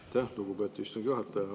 Aitäh, lugupeetud istungi juhataja!